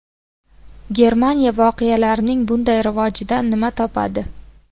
Germaniya voqealarning bunday rivojidan nima topadi?